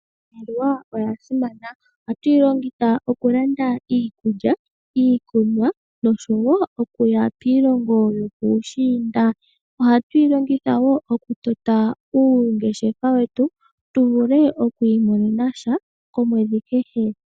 Iimaliwa oya simana. Ohatu yi longitha okulanda iikulya, iikunwa noshowo okuya piilongo yopuushiinda. Ohatu yi longitha okutota uungeshefa wetu tu vule okwiimonena sha kehe komwedhi.